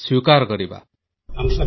sound bite of Shri Atalji